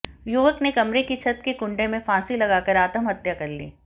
युवक ने कमरे की छत के कुंडे में फांसी लगाकर आत्महत्या कर ली